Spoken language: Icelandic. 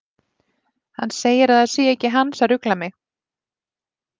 Hann segir að það sé ekki hans að rugla mig.